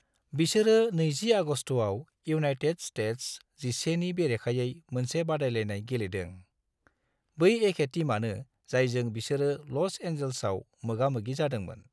बिसोरो 20 आगस्तआव United States XI नि बेरेखायै मोनसे बादायलायनाय गेलेदों, बै एखे टीमानो जायजों बिसोरो ल'स एंजिल्सआव मोगा-मोगि जादोंमोन।